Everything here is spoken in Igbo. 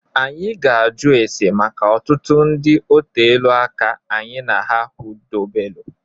Anyị ga-ajụ ese maka ọtụtụ ndị otelu aka anyị na ha hudobelu.